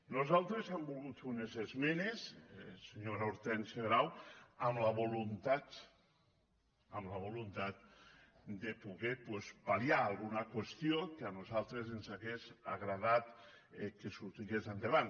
nosaltres hem volgut fer unes esmenes senyora hor·tènsia grau amb la voluntat amb la voluntat de po·der doncs pal·liar alguna qüestió que a nosaltres ens hagués agradat que sortís endavant